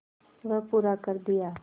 वह पूरा कर दिया